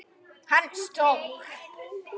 Hann var stór.